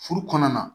Furu kɔnɔna na